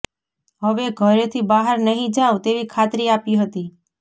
હવે ઘરેથી બહાર નહીં જાઉં તેવી ખાતરી આપી હતી